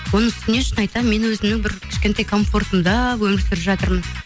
оның үстіне шын айтамын мен өзімнің бір кішкентай комфортымда өмір сүріп жатырмын